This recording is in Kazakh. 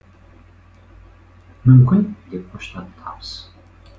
мүмкін деп қоштады табыс